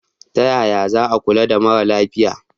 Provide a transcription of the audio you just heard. Ta yaya za a kula da mara lafiya?